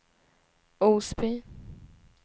Osby